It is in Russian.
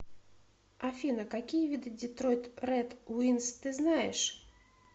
афина какие виды детройт рэд уинз ты знаешь